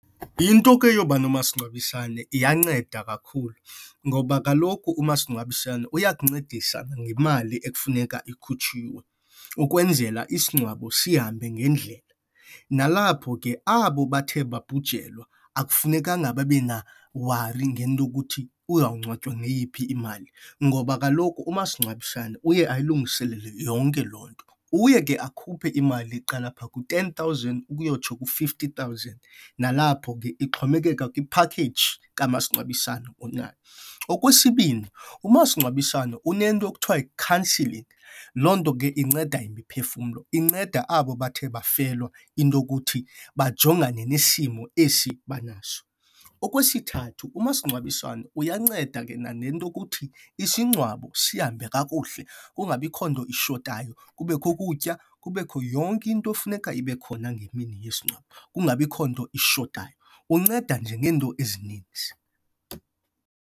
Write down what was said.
Into ke yoba nomasingcwabisane iyanceda kakhulu ngoba kaloku umasingcwabisane uyakuncedisa nangemali ekufuneka ikhutshiwe ukwenzela isingcwabo sihambe ngendlela. Nalapho ke abo bathe babhujelwa, akufunekanga babe nawari ngento yokuthi uzawungcwatywa ngeyiphi imali ngoba kaloku umasingcwabisane uye ayilungiselele yonke loo nto. Uye ke akhuphe imali eqala phaa kwi-ten thousand uyotsho kwi- fifty thousand, nalapho ke ixhomekeka kwiphakeji kamasingcwabisane onayo. Okwesibini, umasingcwabisane unento ekuthiwa yi-counselling. Loo nto ke inceda umphefumlo, inceda abo bathe bafelwa into yokuthi bajongane nesimo esi banaso. Okwesithathu umasingcwabisane uyanceda ke nanento yokuthi isingcwabo sihambe kakuhle kungabikho nto ishotayo. Kubekho ukutya, kubekho yonke into efuneka ibe khona ngemini yesingcwabo kungabikho nto ishotayo. Unceda nje ngeento ezininzi.